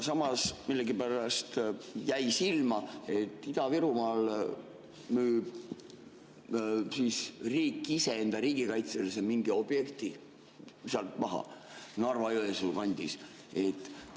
Samas millegipärast jäi silma, et Ida-Virumaal müüb riik ise mingi riigikaitselise objekti Narva-Jõesuu kandis maha.